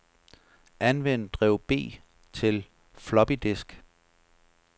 Anvend drev B til floppydisk.